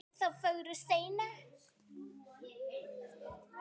þá fögru steina.